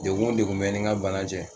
Degun wo degun bɛ n ni n ka bana cɛ.